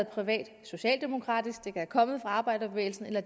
privat socialdemokratisk det kan være kommet fra arbejderbevægelsen eller